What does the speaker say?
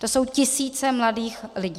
To jsou tisíce mladých lidí.